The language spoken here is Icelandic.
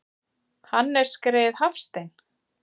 Og Hannes greyið Hafstein!